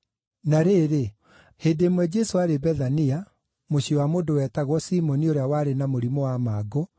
Na rĩrĩ, hĩndĩ ĩmwe Jesũ aarĩ Bethania, mũciĩ wa mũndũ wetagwo Simoni ũrĩa warĩ na mũrimũ wa mangũ,